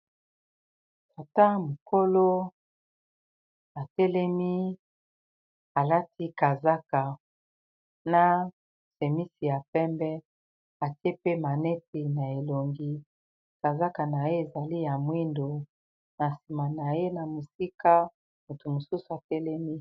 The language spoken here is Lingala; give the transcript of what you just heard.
Tata mokolo atelemi alati kazaka na semisi ya pembe, atie pe maneti na elongi kazaka na ye ezali ya mwindo na nsima na ye na mosika moto mosusu atelemi.